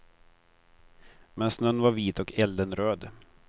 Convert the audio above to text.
Men snön var vit och elden röd.